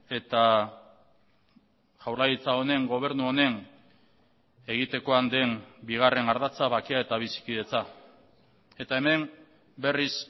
eta jaurlaritza honen gobernu honen egitekoan den bigarren ardatza bakea eta bizikidetza eta hemen berriz